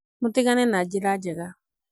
mũtigane na njĩra jega